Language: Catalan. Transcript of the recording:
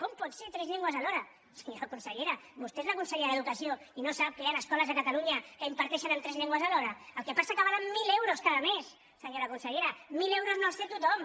com pot ser tres llengües alhora senyora consellera vostè és la consellera d’educació i no sap que hi han escoles a catalunya que imparteixen en tres llengües alhora el que passa és que valen mil euros cada mes senyora consellera mil euros no els té tothom